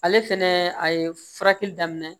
Ale fɛnɛ a ye furakɛli daminɛ